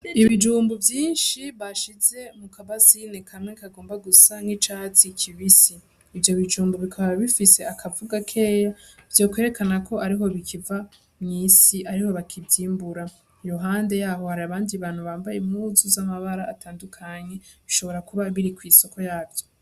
Ibijumbu vyinshi bashize muka basine kamwe kagomba gusa nk'icatsi kibisi , ivyo bijumbu bikaba bifise akavu gakeya vyokwerekana ko ariho bikiva mw'isi , ariho bakivyimbura . Iruhande yaho har'abandi bantu bambaye impuzu z'amabara atandukanye bishobora kuba biri kw'isoko yavyo.